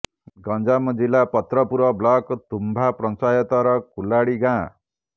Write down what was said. ଗଂଜାମ ଜିଲା ପାତ୍ରପୁର ବ୍ଲକ୍ ତୁମ୍ବା ପଞ୍ଚାୟତର କୁଲାଡି ଗାଁ